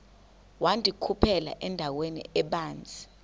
wandikhuphela endaweni ebanzi